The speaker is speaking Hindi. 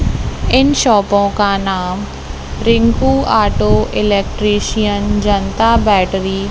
इन शॉपों का नाम Rinku auto electrician Janata battery --